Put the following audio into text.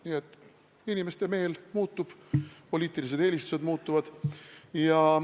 Nii et inimeste meel muutub, poliitilised eelistused muutuvad.